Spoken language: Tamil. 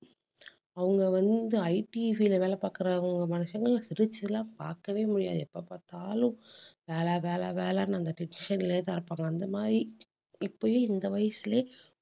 அவங்க வந்து, IT field ல வேலை பார்க்கறவங்க மனுஷங்க சிரிச்சு எல்லாம் பார்க்கவே முடியாது. எப்ப பார்த்தாலும் வேலை வேலை வேலைன்னு அந்த tension லயே தான் இருப்பாங்க. அந்த மாதிரி இப்பயே இந்த வயசுலயே